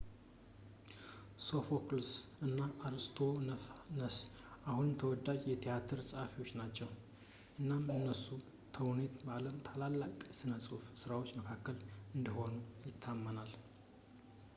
ሶፎክልስ እና አርስቶፋነስ አሁንም ተወዳጅ የትያትር ጸሃፊዎች ናቸው እናም የእነሱ ተውኔቶች ከዓለም ታላላቅ የሥነ-ጽሑፍ ሥራዎች መካከል እንደሆኑ ይታመናል